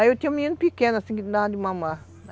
Aí eu tinha um menino pequeno, assim, que não dava de mamar.